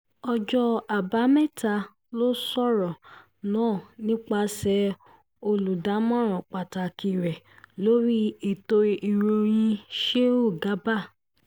ọjọ́ àbámẹ́ta ló sọ̀rọ̀ náà nípasẹ̀ olùdámọ̀ràn pàtàkì rẹ̀ lórí ètò ìròyìn sheu garba